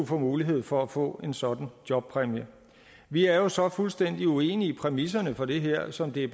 får mulighed for at få en sådan jobpræmie vi er så fuldstændig uenig i præmisserne for det her som de